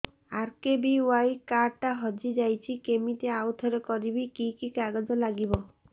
RKBY card ଟା ହଜିଯାଇଛି କିମିତି ଆଉଥରେ କରିବି କି କି କାଗଜ ଲାଗିବ